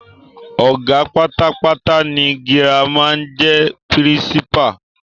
Ọ̀gá pátápátá ní Girama n jẹ pírísípà